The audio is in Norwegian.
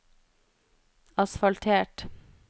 asfaltert